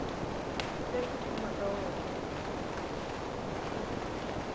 te ku fuma ka wena